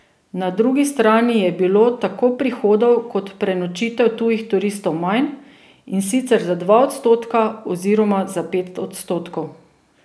Na drugi strani je bilo tako prihodov kot prenočitev tujih turistov manj, in sicer za dva odstotka oziroma za pet odstotkov.